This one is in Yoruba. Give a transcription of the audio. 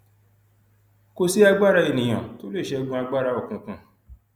kò sí agbára ènìyàn tó lè ṣẹgun agbára òkùnkùn